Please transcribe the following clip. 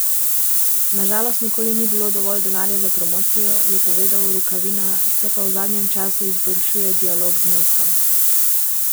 Na žalost nikoli ni bilo dovolj denarja za promocijo, je povedal Rukavina, se pa v zadnjem času izboljšuje dialog z mestom.